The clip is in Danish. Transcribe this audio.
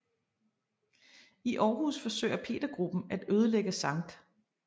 I Aarhus forsøger Petergruppen at ødelægge Skt